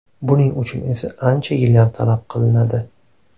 Buning uchun esa ancha yillar talab qilinadi.